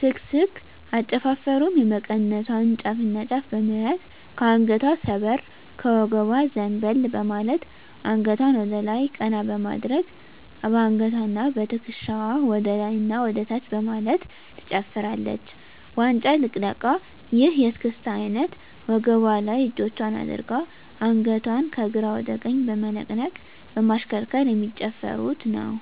ስክስክ አጨፋፈሩም የመቀነቷን ጫፍና ጫፍ በመያዝ ከአንገቷ ሰበር ከወገቧ ዘንበል በማለት አንገቷን ወደላይ ቀና በማድረግ በአንገትዋና በትክሻዋ ወደላይና ወደታች በማለት ትጨፍራለች። ዋንጫ ልቅለቃ ይህ የእስክስታ አይነት ወገቧ ላይ እጆቿን አድርጋ አንገቷን ከግራ ወደ ቀኝ በመነቅነቅ በማሽከርከር የሚጨፍሩት ነው።